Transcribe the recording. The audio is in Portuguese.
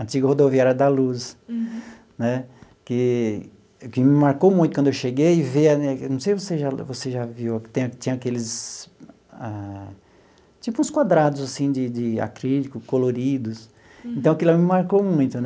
antiga rodoviária da Luz né, que que me marcou muito quando eu cheguei, ver a não sei se você já você já viu, que tem tinha aqueles ah... tipo uns quadrados assim de de acrílico coloridos, então aquilo lá me marcou muito.